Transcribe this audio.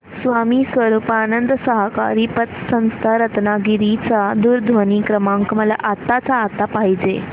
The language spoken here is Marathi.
स्वामी स्वरूपानंद सहकारी पतसंस्था रत्नागिरी चा दूरध्वनी क्रमांक मला आत्ताच्या आता पाहिजे आहे